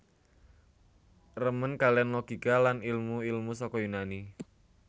Remen kaliyan logika lan ilmu ilmu saka Yunani